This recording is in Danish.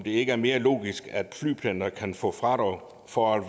ikke er mere logisk at flypendlere kan få fradrag for at